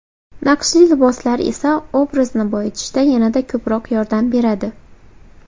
Naqshli liboslar esa obrazni boyitishda yanada ko‘proq yordam beradi.